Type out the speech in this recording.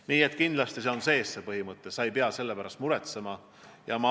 Nii et kindlasti on see põhimõte sees, sa ei pea selle pärast muretsema.